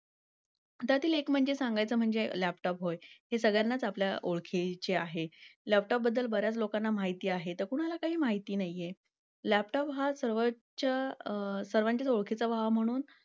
त्यातील एक म्हणजे सांगायचं म्हणज laptop होय ते सगळ्यांनाच आपल्या ओळखीची आहे. लवकरबद्दल बर् याच लोकांना माहिती आहेत. कुणाला काही माहिती नाहीये laptop हा सर्वांच्या ओळखीचा व्हावा म्हणून